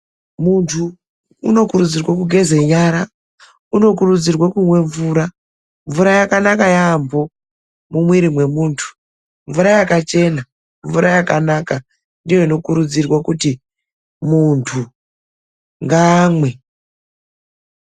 Muntu unokurudzirwe kugeze nyara. Unokurudzirwe kumwe mvura. Mvura yakanaka yaamho mumwiri mwemuntu. Mvura yakachena, mvura yakanaka ndiyo inokurudzirwa kuti muntu ngaamwe.